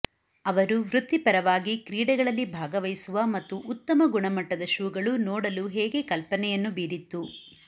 ಅವರು ವೃತ್ತಿಪರವಾಗಿ ಕ್ರೀಡೆಗಳಲ್ಲಿ ಭಾಗವಹಿಸುವ ಮತ್ತು ಉತ್ತಮ ಗುಣಮಟ್ಟದ ಶೂಗಳು ನೋಡಲು ಹೇಗೆ ಕಲ್ಪನೆಯನ್ನು ಬೀರಿತ್ತು